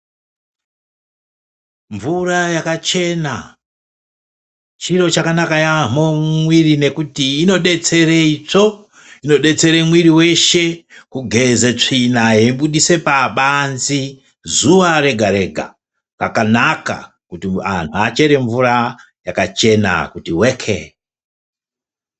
Mvura yakachena chiro chakanaka yaamho mumwiri nekuti inodzetseitsvo. Inodetsere mwiri kugeze tsvina yeibudisa pabanze zuwa rega rega. Zvakanaka kuti anhu achere mvura yakachena kuti weke.